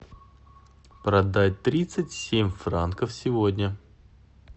продать тридцать семь франков сегодня